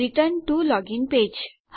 return to login page